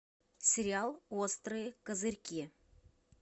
сериал острые козырьки